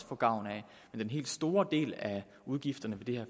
få gavn af men den helt store del af udgifterne ved det